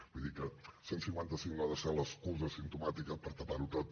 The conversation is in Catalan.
vull dir que el cent i cinquanta cinc no ha de ser l’excusa simptomàtica per tapar ho tot